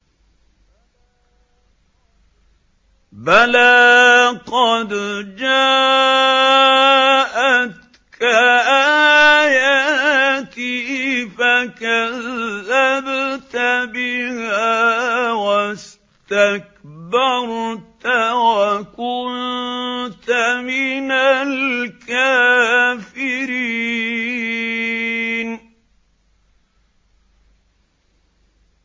بَلَىٰ قَدْ جَاءَتْكَ آيَاتِي فَكَذَّبْتَ بِهَا وَاسْتَكْبَرْتَ وَكُنتَ مِنَ الْكَافِرِينَ